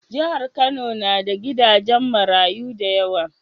Jahar kano na da gidajen marayu dayawa